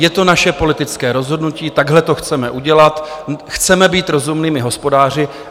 Je to naše politické rozhodnutí, takhle to chceme udělat, chceme být rozumnými hospodáři.